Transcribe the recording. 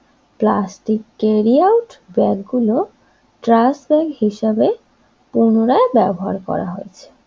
Plastic carry out ব্যাগগুলো trash bag হিসাবে পুনরায় ব্যবহার করা হয়েছে।